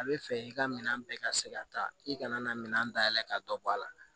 A bɛ fɛ i ka minan bɛɛ ka se ka taa i kana na minɛn dayɛlɛ k'a dɔ bɔ a la